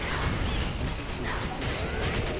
la se sengwe le se